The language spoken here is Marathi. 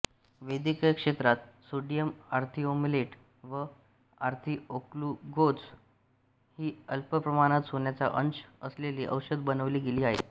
वैद्यकीय क्षेत्रात सोडियम ऑर्थिओमलेट वा ऑर्थिओग्लुकोज ही अल्पप्रमाणात सोन्याचा अंश असलेली औषधे बनवली गेली आहेत